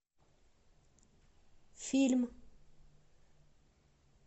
фильм